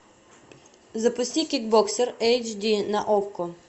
запусти кикбоксер эйч ди на окко